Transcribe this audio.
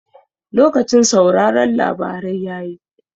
Lokacin sauraron labarai yayi